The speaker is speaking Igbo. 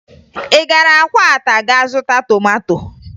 Ị gara Akwata ga zụta tomato?